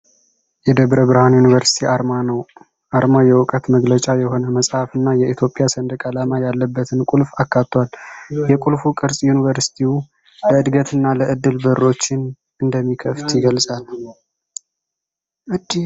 የደብረ ብርሃን ዩኒቨርሲቲ አርማ ነው። አርማው የእውቀት መገለጫ የሆነ መጽሐፍ እና የኢትዮጵያ ሰንደቅ ዓላማ ያለበትን ቁልፍ አካቷል ። የቁልፉ ቅርጽ ዩኒቨርሲቲው ለእድገት እና ለዕድል በሮችን እንደሚከፍት ይገልጻል።